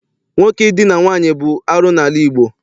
Nwoke Idina nwaanyị bụ arụ n'ala Igbo.